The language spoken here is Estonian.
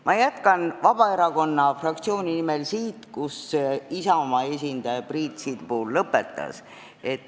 Ma jätkan Vabaerakonna fraktsiooni nimel sealt, kus Isamaa esindaja Priit Sibul lõpetas.